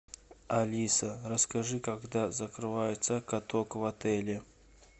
алиса расскажи когда закрывается каток в отеле